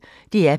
DR P1